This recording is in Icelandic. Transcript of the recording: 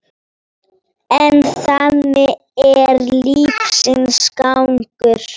En þannig er lífsins gangur.